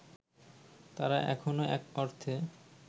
তারা এখনো এক অর্থে